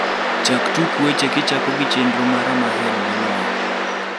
chak tuk weche kichako gi chenro mara mahero moloyo